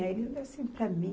Aí ele olhou assim para mim.